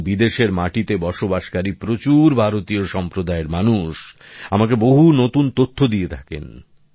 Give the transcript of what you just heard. এবং বিদেশের মাটিতে বসবাসকারী প্রচুর ভারতীয় সম্প্রদায়ের মানুষ আমাকে বহু নতুন তথ্য দিয়ে থাকেন